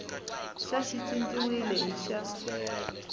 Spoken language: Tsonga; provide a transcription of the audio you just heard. xa xi cinciwile hi xa